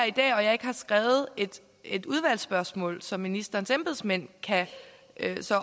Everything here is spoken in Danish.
i dag og jeg ikke har skrevet et udvalgsspørgsmål som ministerens embedsmænd kan